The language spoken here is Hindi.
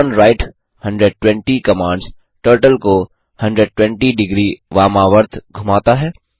टर्नराइट 120 कमांड्स टर्टल को 120 डिग्री वामावर्त घुमाता है